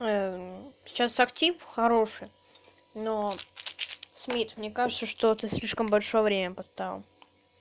сейчас актив хороший но смит мне кажется что ты слишком большое время поставил